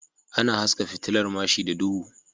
Ana haska fitilar mashi da duhu